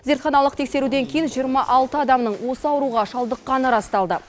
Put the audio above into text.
зертханалық тексеруден кейін жиырма алты адамның осы ауруға шалдыққаны расталды